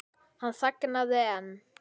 Hann þagnaði en